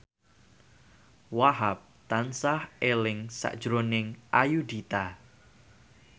Wahhab tansah eling sakjroning Ayudhita